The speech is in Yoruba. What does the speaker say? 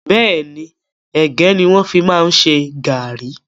Bẹ́ẹ̀ni, ẹ̀gẹ́ ni wọn fi máa ń ṣe gàárì